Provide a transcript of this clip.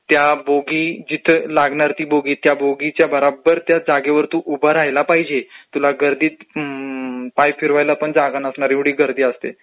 त्या बोगी जिथं लागणारे त्या बोगीच्या जागेवर बराबर तू उभं राहायला पाहिजे. तुला तर ती अम्म्म्म .....पाय फिरवायला पण जागा नसणार एवढी गर्दी असते.